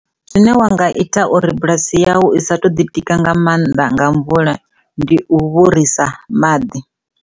Zwine wa nga ita uri bulasi yau i sa to ḓi tika nga mannḓa nga mvula ndi u vhorisa maḓi.